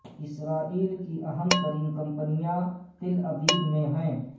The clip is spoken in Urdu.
اسرائیل کی اہم ترین کمپنیاں تل ابیب میں ہیں